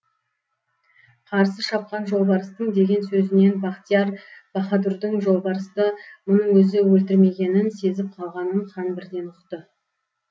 қарсы шапқан жолбарыстың деген сөзінен бахтияр баһадурдың жолбарысты мұның өзі өлтірмегенін сезіп қалғанын хан бірден ұқты